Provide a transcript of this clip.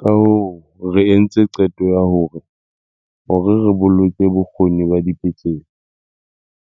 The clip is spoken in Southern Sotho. Kahoo re entse qeto ya hore, hore re boloke bokgoni ba dipetlele,